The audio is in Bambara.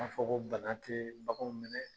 M'a fɔ ko bana tɛ baganw minɛ